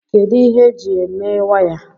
kedu ihe eji mee waya